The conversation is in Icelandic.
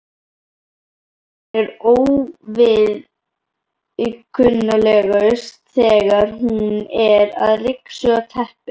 Hún er óviðkunnanlegust þegar hún er að ryksuga teppin.